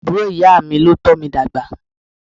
Àbúrò ìyá mi ló tómi dàgbà.